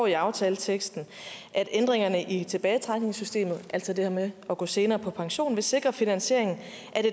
i aftaleteksten at ændringerne i tilbagetrækningssystemet altså det her med at gå senere på pension ville sikre finansiering af